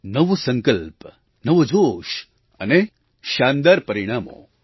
નવો સંકલ્પ નવો જોશ અને શાનદાર પરિણામો